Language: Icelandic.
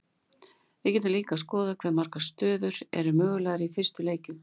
við getum líka skoðað hve margar stöður eru mögulegar í fyrstu leikjum